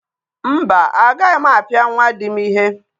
Mba, agaghị m apịa nwa di m ihe.